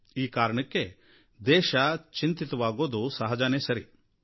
ಈ ಕಾರಣಕ್ಕೆ ದೇಶ ಚಿಂತಿತವಾಗೋದು ಸಹಜವೇ ಆಗಿದೆ